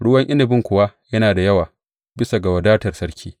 Ruwan inabin kuwa yana da yawa, bisa ga wadatar sarki.